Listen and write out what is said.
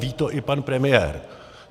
Ví to i pan premiér.